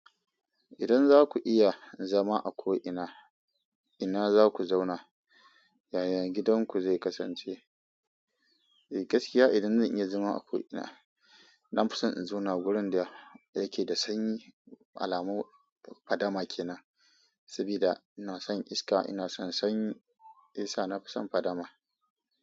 Idan za ku iya zama a ko ina, ina za ku zauna? Yaya gidanku zai kasance? Gaskiya idan zan iya zama a ko ina nafi son in zauna a gurin da yake da sanyi alamun fadama kenan sabida ina son iska, ina son sanyi, shiyasa nafi son fadama.